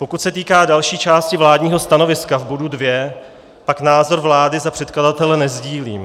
Pokud se týká další části vládního stanoviska v bodu 2, pak názor vlády za předkladatele nesdílím.